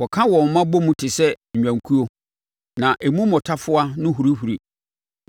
Wɔka wɔn mma bɔ mu te sɛ nnwankuo; na emu mmotafowa no hurihuri.